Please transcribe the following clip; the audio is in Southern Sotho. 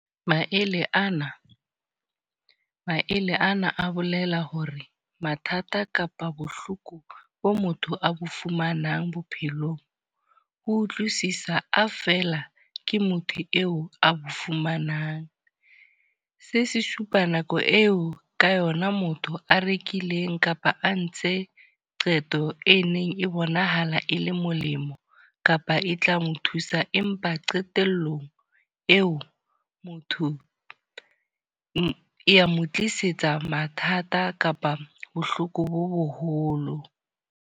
Maele ana, maele ana a bolela hore mathata kapa bohloko bo motho a bo fumanang bophelong. Ho utlwisisa a fela ke motho eo a bo fumanang. Se se supa nako eo ka yona motho a rekileng kapa a ntshe qeto e neng e bonahala e le molemo, kapa e tla mo thusa. Empa qetelllong eo motho ya mo tlisetsa mathata kapa bohloko bo boholo.